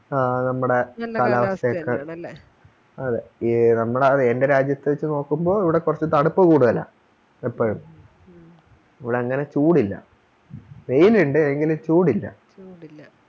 ആഹ് നമ്മുടെ അതെ എ നമ്മടെ അതെൻറെ രാജ്യത്തെ വെച്ച് നോക്കുമ്പോ ഇവിടെ കുറച്ച് തണുപ്പ് കൂടുതലാ എപ്പഴും ഇവിടങ്ങനെ ചൂടില്ല വെയിലിണ്ട് എങ്കിലും ചൂടില്ല